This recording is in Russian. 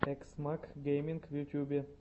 экс мак геймин в ютюбе